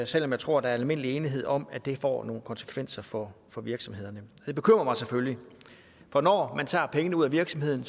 selv om jeg tror der er almindelig enighed om at det får nogle konsekvenser for for virksomhederne det bekymrer mig selvfølgelig for når man tager pengene ud af virksomheden